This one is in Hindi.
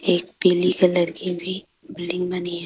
एक पीली कलर की भी बिल्डिंग बनी है।